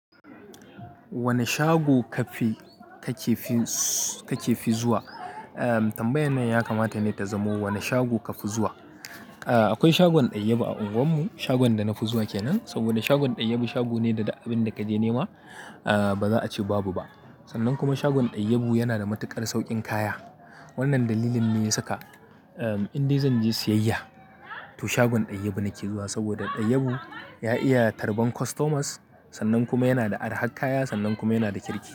Wane shago kafi kakefi, kakefi zuwa? Tambayan nan yakamata ne ta zamo wane shago kafi zuwa. Akwai shagon Dayyabu a unguwar mu. Shagon da na fi zuwa kenan. Saboda shagon Dayyabu shago ne da duk abin da ka je nema ba za a ce babu ba. Sannan kuma shagon Dayyabu yana da matuƙar saukin kaya. Wannan dalilin ne ya saka in dai zan je siyayya to shagon Dayyabu nake zuwa. Saboda Dayyabu ya iya tarban customers sannan kuma yana da arha kaya sannan kuma yana da kirki.